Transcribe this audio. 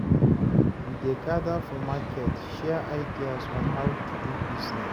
We dey gather for market, share ideas on how to do business.